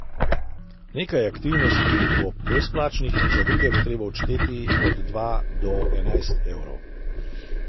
Nekaj aktivnosti bo brezplačnih, za druge bo treba odšteti od dva do enajst evrov.